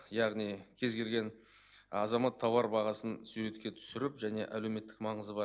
яғни кез келген азамат тауар бағасын суретке түсіріп және әлеуметтік маңызы бар